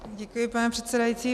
Děkuji, pane předsedající.